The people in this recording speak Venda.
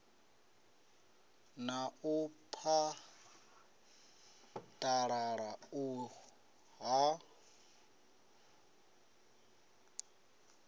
na u phaḓalala u ya